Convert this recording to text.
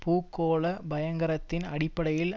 பூகோள பயங்கரத்தின் அடிப்படையில்